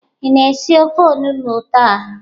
Ị na-esi ofe olugbụ taa?